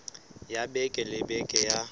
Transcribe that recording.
ya beke le beke ya